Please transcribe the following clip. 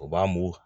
O b'an mun